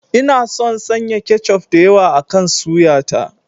Ina son sanya kechof da yawa akan suya ta.